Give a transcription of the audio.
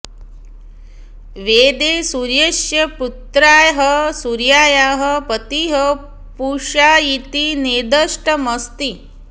वेदे सूर्यस्य पुत्र्याः सूर्यायाः पतिः पूषा इति निर्दिष्टमस्ति